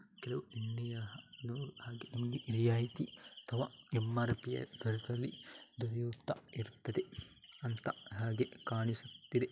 ರಿಯಾಯಿತಿ ಅಥವಾ ಎಂ.ಆರ್.ಪಿ ದರದಲ್ಲಿ ದೊರೆಯುತ್ತಾ ಇರುತ್ತದೆ ಅಂತ ಹಾಗೆ ಕಾಣಿಸುತ್ತಿದೆ .